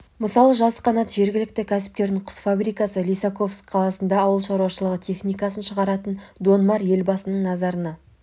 мысалы жасқанат жергілікті кәсіпкердің құс фабрикасы лисаковск қаласындағы ауыл шаруашылығы техникасын шығаратын дон мар елбасының назарына